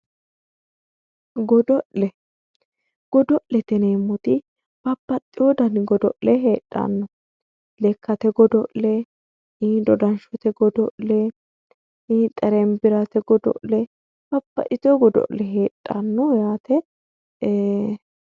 godo'le godo'lete yineemmoti babaxewo dani godo'le heedhanno lekkate godo'le dodanshshote godo'le xerembirate godo'le eee babbaxewo dani godo'le heedhanno yaaate